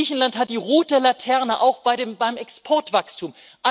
Griechenland hat die rote Laterne, auch beim Exportwachstum.